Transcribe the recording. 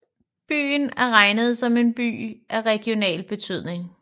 Byen er regnet som en by af regional betydning